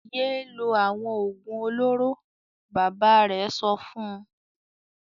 "Yé lo àwọn òògùn olóró!" Bàbá rẹ̀ sọ fún un.